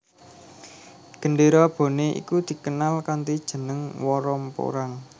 Gendéra Bone iku dikenal kanthi jeneng Woromporang